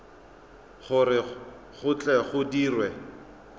gore go tle go dirwe